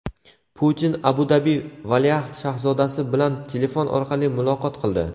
Putin Abu-Dabi valiahd shahzodasi bilan telefon orqali muloqot qildi.